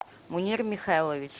мунир михайлович